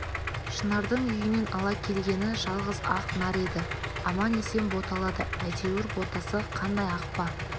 шынардың үйінен ала келгені жалғыз ақ нар еді аман-есен боталады әйтеуір ботасы қандай ақ па